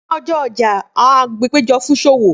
Ni ọjọ ọja, awọn agbegbe pejọ fun iṣowo